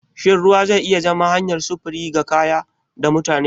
Shin ruwa zai iya zama hanyar sufuri ga kaya da mutane?